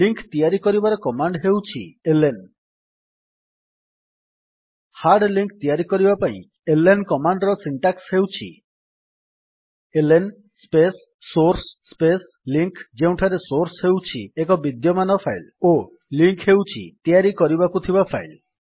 link ତିଆରି କରିବାର command ହେଉଛି ଏଲଏନ ହାର୍ଡ୍ ଲିଙ୍କ୍ ତିଆରି କରିବା ପାଇଁ ଏଲଏନ କମାଣ୍ଡ୍ ର ସିଣ୍ଟାକ୍ସ୍ ହେଉଛି LN space source space link ଯେଉଁଠାରେ ସୋର୍ସ୍ ହେଉଛି ଏକ ବିଦ୍ୟମାନ ଫାଇଲ୍ ଓ ଲିଙ୍କ୍ ହେଉଛି ତିଆରି କରିବାକୁ ଥିବା ଫାଇଲ୍